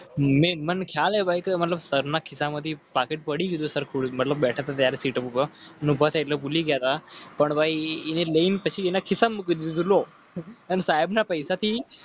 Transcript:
સરના ખિતાબથી પાકીટ પડી ગયુંસર ખુર્દ. ભાઈને? સાહેબ ના પૈસા થી.